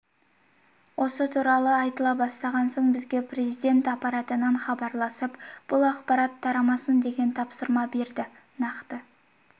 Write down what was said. осы туралы айтыла бастаған соң бізге президент аппаратынан хабарласып бұл ақарат тарамасын деген тапсырма берді нақты